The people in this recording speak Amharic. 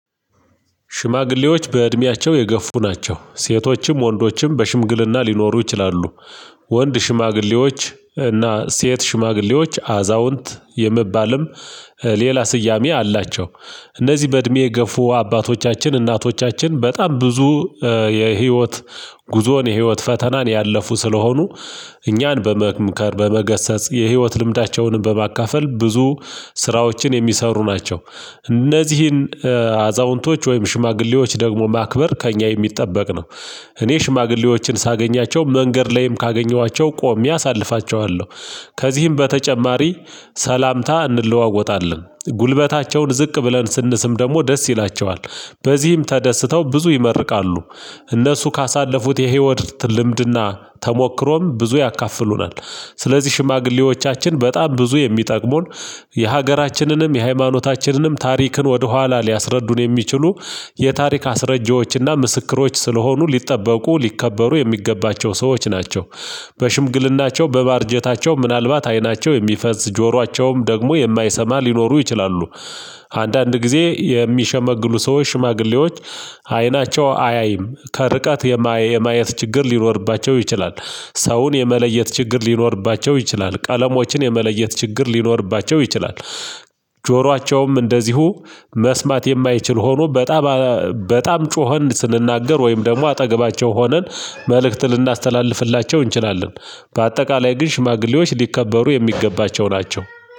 ሽማግሌዎች በእድሜያቸው የገፉ ናቸው ሴቶችም ወንዶችም በሽምግልና ሊኖሩ ይችላሉ። ወንድ ሽማግሌዎች እና ሴት ሽማግሌዎች አዛውንት የሚባልም ሌላ ስያሜ አላቸው። እነዚህ በእድሜ የገፉ አባቶቻችን እናቶቻችን በጣም ብዙ የህይወት ጉዞን የህይወት ፈተናን ያለፉ ስለሆኑ እኛን በመምከር በመገሰጽ የህይወት ልምዳቸውንም በማካፈል ብዙ ስራዎችን የሚሰሩ ናቸው። እነዚህን አዛውንቶች ወይም ሽማግሌዎች ደግሞ ማክበር ከእኛ የሚጠበቅ ነው። እኔ ሽማግሌዎችን ሳገኛቸው መንገድ ላይም ካገኘኋቸው ቆሜ አሳልፋቸዋለሁ። ከዚህም በተጨማሪ ሰላምታ እንለዋወጣለን ጉልበታቸውን ዝቅ ብለን ስንስም ደግሞ ደስ ይላቸዋል። በዚህም ተደስተው ብዙ ይመርቃሉ። እነሱ ካሳለፉት የህይወት ልምድና ተሞክሮም ብዙ ያካፍሉናል። ስለዚህ ሽማግሌዎቻችን በጣም ብዙ የሚጠቅሙን። የሀገራችንንም የሃይማኖታችንንም ታሪክን ወደ ኋላ ሊያስረዱን የሚችሉ የታሪክ አስረጂዎችና ምስክሮች ስለሆኑ ሊጠበቁ ሊከበሩ የሚገባቸው ሰዎች ናቸው። በሽምግልናቸው በማርጀታቸው ምናልባት አይናቸው የሚፈዝ ጆሯቸውም ደግሞ የማይሰማ ሊኖሩ ይችላሉ። አንዳንድ ጊዜ የሚሸመግሉ ሰዎች ሽማግሌዎች። አይናቸው አያይም ከርቀት የማየት ችግር ሊኖርባቸው ይችላል። ሰውን የመለየት ችግር ሊኖርባቸው ይችላል ቀለሞችን የመለየት ችግር ሊኖርባቸው ይችላል። ጆሯቸውም እንደዚሁ መስማት የማይችል ሆኖ በጣም በጣም ጮኸን ስንናገር ወይም ደግሞ አጠገባቸው ሆነን መልእክት ልናስተላልፍላቸው እንችላለን። በአጠቃላይ ግን ሽማግሌዎች ሊከበሩ የሚገባቸው ናቸው